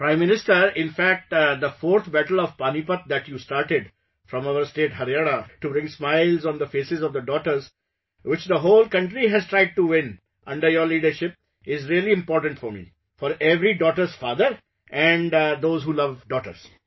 Prime Minister, in fact, the fourth battle of Panipat that you started from our state Haryana to bring smiles on the faces of the daughters, which the whole country has tried to win under your leadership, is really important for me, for every daughter's father and those who love daughters